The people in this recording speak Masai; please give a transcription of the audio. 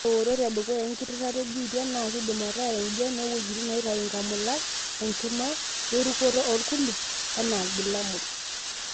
Ore eoret edukuya engitirata e HIV na kindim ataa enjian oweujitin naitayu inkamulat ,enkima, o-rukoto olkulupi ena ilbulabul.